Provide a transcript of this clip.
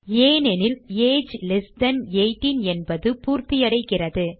ஏனெனில் age less than 18 என்பது பூர்த்தியடைகிறது